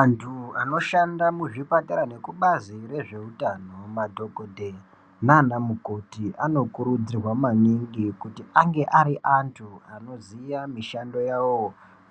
Antu anoshanda muzvipatara nekubazi rezve utano madhokodheya nana mukoti anokurudzirwa maningi kuti ange ari antu anoziya mishando yavo